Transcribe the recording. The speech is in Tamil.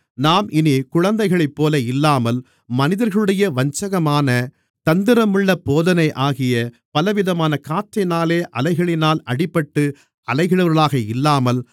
நாம் இனிக் குழந்தைகளைப்போல இல்லாமல் மனிதர்களுடைய வஞ்சகமான தந்திரமுள்ள போதனையாகிய பலவிதமான காற்றினாலே அலைகளினால் அடிபட்டு அலைகிறவர்களாக இல்லாமல்